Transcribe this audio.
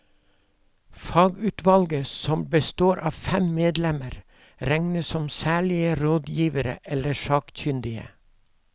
Fagutvalget, som består av fem medlemmer, regnes som særlige rådgivere eller sakkyndige.